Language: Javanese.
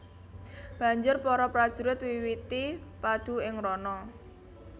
Banjur para prajurit miwiti padu ing rana